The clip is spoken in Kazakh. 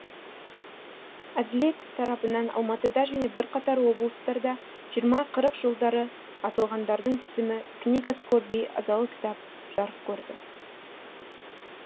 әділет тарапынан алматыда және бірқатар облыстарда жиырма қырық жылдары атылғандардың тізімі книга скорби азалы кітап жарық көрді